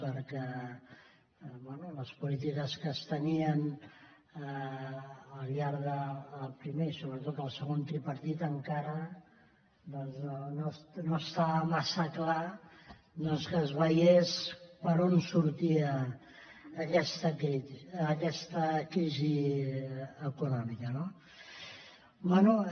perquè bé les polítiques que es tenien al llarg del primer i sobretot el segon tripartit encara no estava massa clar que es veiés per on sortia aquesta crisi econòmica no bé